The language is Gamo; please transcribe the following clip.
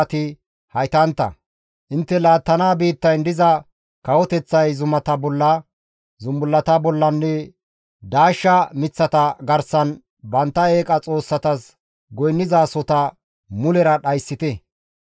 intte laattana biittayn diza kawoteththay zumata bolla, zumbullata bollanne daashsha miththata garsan bantta eeqa xoossatas goynnizasota mulera dhayssite.